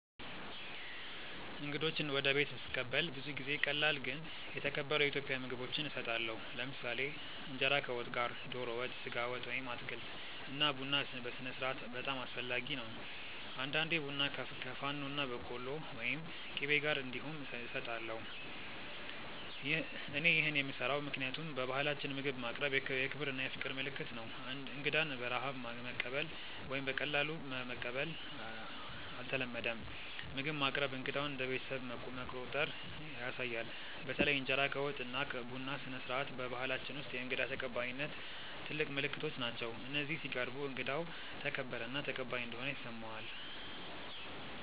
እንግዶችን ወደ ቤት ስቀበል ብዙ ጊዜ ቀላል ግን የተከበሩ የኢትዮጵያ ምግቦች እሰጣለሁ። ለምሳሌ እንጀራ ከወጥ ጋር (ዶሮ ወጥ፣ ስጋ ወጥ ወይም አትክልት) እና ቡና ስነስርዓት በጣም አስፈላጊ ነው። አንዳንዴ ቡና ከፋኖና በቆሎ ወይም ቂቤ ጋር እንዲሁም እሰጣለሁ። እኔ ይህን የምሰራው ምክንያቱም በባህላችን ምግብ ማቅረብ የክብር እና የፍቅር ምልክት ነው። እንግዳን በረሃብ ማቀበል ወይም በቀላሉ መቀበል አይተለመድም፤ ምግብ ማቅረብ እንግዳውን እንደ ቤተሰብ መቆጠር ያሳያል። በተለይ እንጀራ ከወጥ እና ቡና ስነስርዓት በባህላችን ውስጥ የእንግዳ ተቀባይነት ትልቅ ምልክቶች ናቸው፤ እነዚህ ሲቀርቡ እንግዳው ተከበረ እና ተቀባይ እንደሆነ ይሰማዋል።